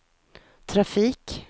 trafik